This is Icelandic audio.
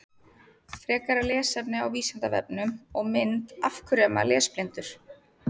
Frekara lesefni á Vísindavefnum og mynd Af hverju er maður lesblindur?